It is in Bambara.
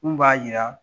Mun b'a jira